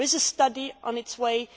there is a study on its way